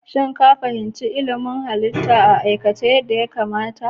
Shin ka fahimci ilimin halittu a aikace yadda ya kamata?